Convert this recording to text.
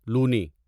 لونی